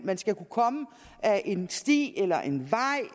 man skal kunne komme ad en sti eller en vej